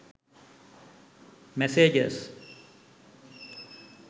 messages